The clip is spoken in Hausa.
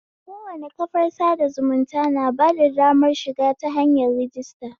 Kowane kafar sada zumunta na bada damar shiga ta hanyar rajista